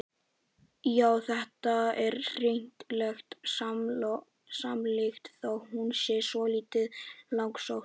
Já, þetta er hnyttileg samlíking þó hún sé svolítið langsótt.